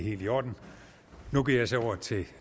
kommer til